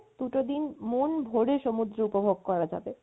দুটো দিন মন ভরে সমুদ্র উপভোগ করা যাবে